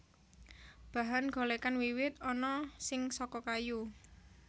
Bahan golèkan wiwit ana sing saka kayu